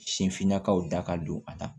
Sin finnakaw da ka don a la